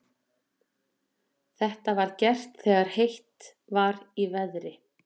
Þetta var gert þegar heitt var í veðri.